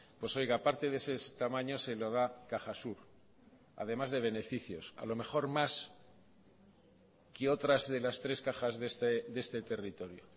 pues oiga parte de ese tamaño se lo da cajasur además de beneficios a lo mejor más que otras de las tres cajas de este territorio